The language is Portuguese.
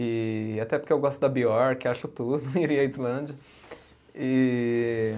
E até porque eu gosto da acho tudo, iria à Islândia. E